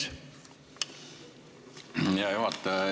Hea juhataja!